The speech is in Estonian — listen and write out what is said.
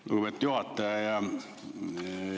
Lugupeetud juhataja!